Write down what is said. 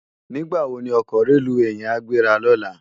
Nigbá wó ni òkò rélúwé yèn á gbérá lòlá?